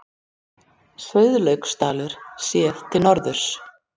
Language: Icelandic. Sauðlauksdalur séð til norðurs.